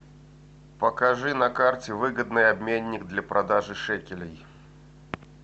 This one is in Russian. покажи на карте выгодный обменник для продажи шекелей